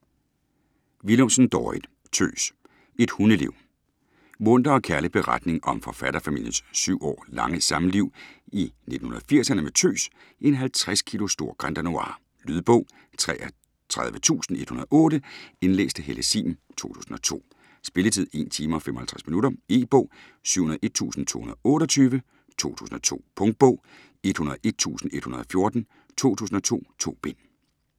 Willumsen, Dorrit: Tøs: et hundeliv Munter og kærlig beretning om forfatterfamiliens syv år lange samliv i 1980'erne med Tøs - en 50 kilo stor Grand Danois. Lydbog 33108 Indlæst af Helle Sihm, 2002. Spilletid: 1 timer, 55 minutter. E-bog 701228 2002. Punktbog 101114 2002. 2 bind.